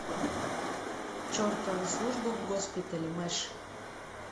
чертова служба в госпитале мэш